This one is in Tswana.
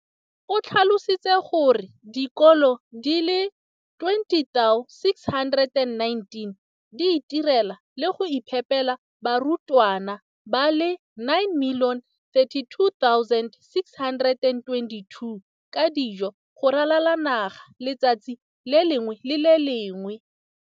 O tlhalositse gore dikolo di le 20 619 di itirela le go iphepela barutwana ba le 9 032 622 ka dijo go ralala naga letsatsi le lengwe le le lengwe.